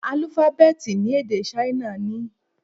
Álúfábẹ́tì ni èdè Ṣáínà ní?